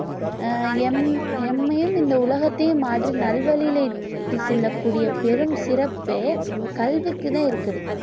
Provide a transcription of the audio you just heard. ஆஹ் எம்~ எம்மயும் இந்த உலகத்தையும் மாற்றி நல்வழியில இட்டு செல்லக்கூடிய பெரும் சிறப்பே கல்விக்கு தான் இருக்குது